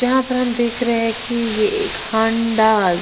जहां पर हम देख रहे हैं कि यह एक हांडास--